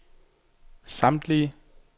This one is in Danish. samtlige